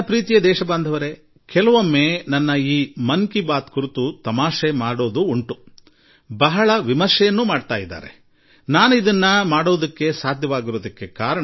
ನನ್ನ ಆತ್ಮೀಯ ದೇಶವಾಸಿಗಳೇ ಆಗಾಗ ನನ್ನ ಮನದ ಮಾತಿನ ಬಗ್ಗೆ ಬಹಳ ತಮಾಷೆ ಮಾಡುವುದೂ ಉಂಟು ಬಹಳ ಟೀಕೆ ಮಾಡುವುದೂ ಉಂಟು